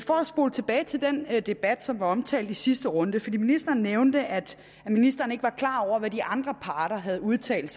spole tilbage til den debat som var omtalt i sidste runde for ministeren nævnte at ministeren ikke var klar over hvad de andre parter havde udtalt